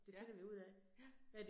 Ja, ja